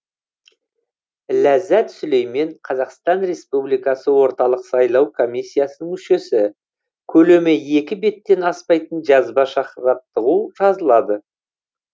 ләззат сүлеймен қазақстан ресупбликасы орталық сайлау комиссиясының мүшесі көлемі екі беттен аспайтын жазбаша жаттығу жазылады